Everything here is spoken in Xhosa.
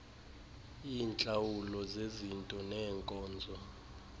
iintlawulo zezinto neenkonzo